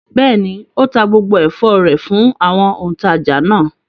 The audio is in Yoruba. Bẹ́ẹ̀ ni, ó ta gbogbo ẹ̀fọ́ rẹ̀ fún àwọn òǹtajà náà.